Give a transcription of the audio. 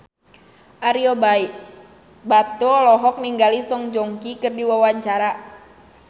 Ario Batu olohok ningali Song Joong Ki keur diwawancara